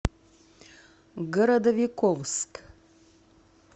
городовиковск